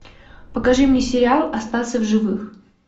покажи мне сериал остаться в живых